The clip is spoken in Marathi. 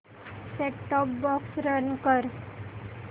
सेट टॉप बॉक्स रन कर